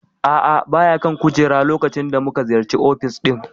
A'a baya kan kujerar a lokacin da muka ziyarci ofis ɗin.